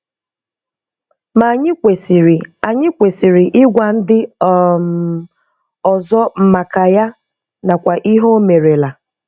Ma anyị kwesiri anyị kwesiri ịgwa ndị um ọzọ maka ya nakwa ihe o merela.